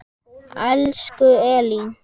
Elsku Elín.